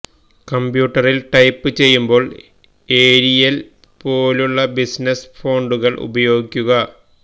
കംപ്യൂട്ടറില് type ചെയ്യുമ്പോള് Arial പോലുള്ള business ഫോണ്ടുകള് ഉപയോഗിക്കുക